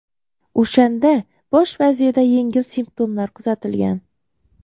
O‘shanda bosh vazirda yengil simptomlar kuzatilgan.